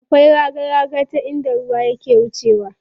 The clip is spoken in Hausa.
Akwai raga raga ta inda ruwa ke wucewa.